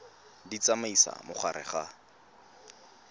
di tsamaisa mo gare ga